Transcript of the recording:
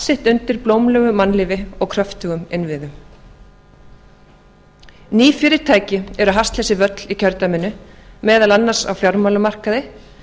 sitt undir blómlegu mannlífi og kröftugum innviðum ný fyrirtæki eru að hasla sér völl í kjördæminu meðal annars á fjármálamarkaði